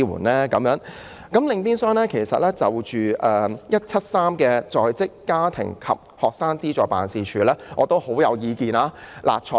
另外，我對"總目 173— 在職家庭及學生資助事務處"亦頗有意見。